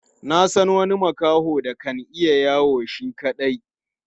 Na san wani makaho da kan iya yawo shi kaɗai.